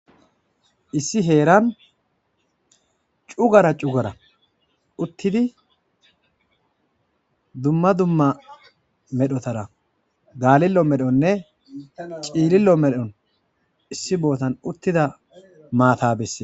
Issi herrani cuggara cuggara uttidi duma duma hanotanara Galileo melone cililo melo mattayi uttidi.